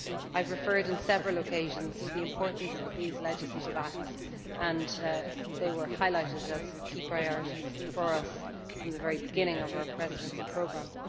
I have referred on several occasions to the importance of these legislative acts and they have been highlighted as key priorities for us from the very beginning of our Presidency programme.